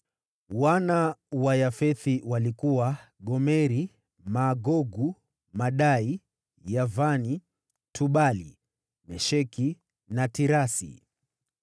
Wana wa Yafethi walikuwa: Gomeri, Magogu, Madai, Yavani, Tubali, Mesheki na Tirasi.